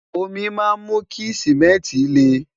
omi má mú kí simẹnti le